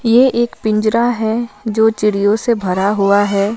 यह एक पिंजरा है जो चिड़यो से भरा हुआ है।